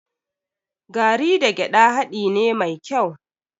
Garri da gyaɗa haɗi ne mai kyau.